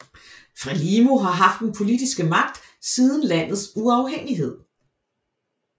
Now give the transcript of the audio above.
Frelimo har haft den politiske magt siden landets uafhængighed